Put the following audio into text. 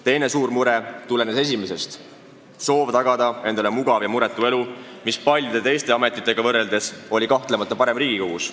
Teine suur mure tulenes esimesest: soov tagada endale mugav ja muretu elu, mis paljude teiste ametitega võrreldes oli kahtlemata lihtsam saavutada Riigikogus.